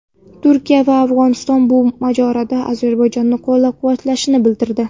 Turkiya va Afg‘oniston bu mojaroda Ozarbayjonni qo‘llab-quvvatlashni bildirdi.